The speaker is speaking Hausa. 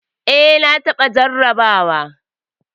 Eh. na taɓa jarraba wa.